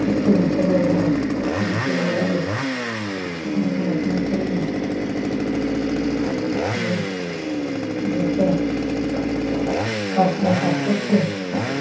উচ্চ বিদ্যালয় গেল বিশ্ববিদ্যালয়ে গেল সেখানে পড়াশোনা করল করে একটা কারখানায় কাজ করছে